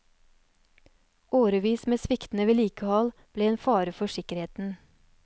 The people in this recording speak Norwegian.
Årevis med sviktende vedlikehold ble en fare for sikkerheten.